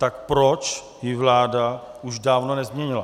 Tak proč ji vláda už dávno nezměnila?